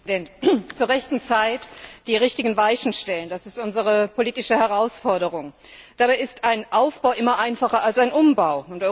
Herr Präsident! Zur rechten Zeit die richtigen Weichen stellen das ist unsere politische Herausforderung. Dabei ist ein Aufbau immer einfacher als ein Umbau.